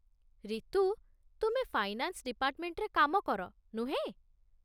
ରିତୁ, ତୁମେ ଫାଇନାନ୍ସ ଡିପାର୍ଟ୍‌ମେଣ୍ଟରେ କାମ କର, ନୁହେଁ?